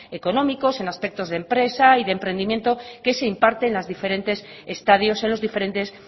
económicos en aspecto de empresa y de emprendimiento que se imparte en los diferentes